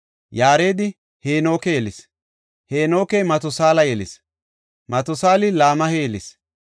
Yaaredi Heenoke yelis; Heenokey Matusaala yelis; Matusaali Laameha yelis;